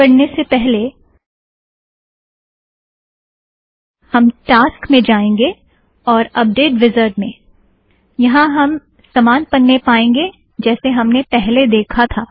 आगे बढ़ने से पहले हम टास्क में जाएंगे और अपडेट वीज़ार्ड़ में - यहाँ हम समान पन्ने पाएंगे जैसे हमने पहले देखा था